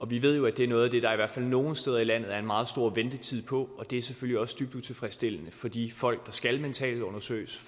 vi ved jo at det er noget af det der i hvert fald nogle steder i landet er en meget stor ventetid på og det er selvfølgelig også dybt utilfredsstillende for de folk der skal mentalundersøges